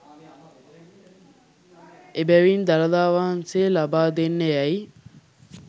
එබැවින් දළදා වහන්සේ ලබා දෙන්න යැයි